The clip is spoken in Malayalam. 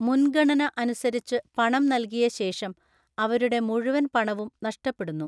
മുൻഗണന അനുസരിച്ചു പണം നൽകിയ ശേഷം, അവരുടെ മുഴുവൻ പണവും നഷ്ടപ്പെടുന്നു.